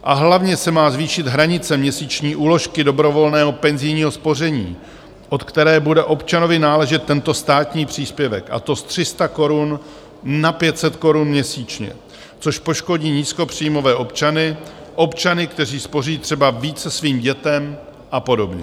A hlavně se má zvýšit hranice měsíční úložky dobrovolného penzijního spoření, od které bude občanovi náležet tento státní příspěvek, a to z 300 korun na 500 korun měsíčně, což poškodí nízkopříjmové občany, občany, kteří spoří třeba více svým dětem, a podobně.